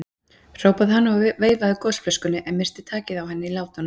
hrópaði hann og veifaði gosflöskunni, en missti takið á henni í látunum.